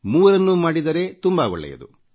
ಮೂರನ್ನೂ ಪಾಲಿಸಿದರೆ ತುಂಬಾ ಒಳ್ಳೇದು